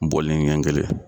Bɔlinin ɲɛ kelen.